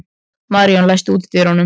Maríon, læstu útidyrunum.